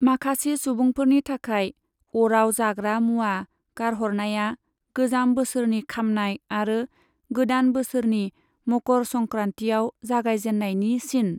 माखासे सुबुंफोरनि थाखाय, अराव जाग्रा मुआ गारहरनाया गोजाम बोसोरनि खामनाय आरो गोदान बोसोरनि मकर संक्रांतिआव जागायजेननायनि सिन।